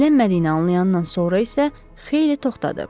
İzlənmədiyini anlayandan sonra isə xeyli toxtadı.